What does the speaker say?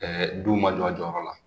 duw ma jɔ a jɔyɔrɔ la